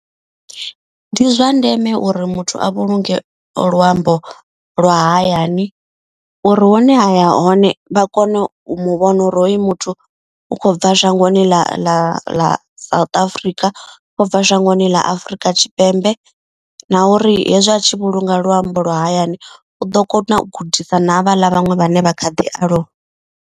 Ndi zwa ndeme uri muthu a vhulunge luambo lwa hayani. Uri hune a ya hone vha kone u muvhona uri hoyu muthu u khou bva shangoni ḽa ḽa ḽa South Africa. Ubva shangoni ḽa Afrika Tshipembe na uri hezwi a tshi vhulunga luambo lwa hayani. U ḓo kona u gudisa na havha ḽa vhaṅwe vhane vha kha ḓi aluwa.